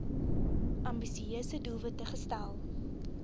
ambisieuse doelwitte gestel